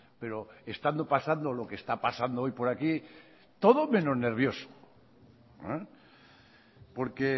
pero estando pasando lo que está pasando hoy por aquí todo menos nervioso porque